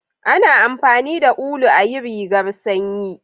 A na amfani da ulu ayi rigar sanyi